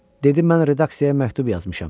Dedim mən redaksiyaya məktub yazmışam.